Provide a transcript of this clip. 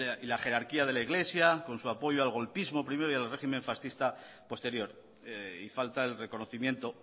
y la jerarquía de la iglesia con su apoyo al golpismo primero y al régimen fascista posterior y falta el reconocimiento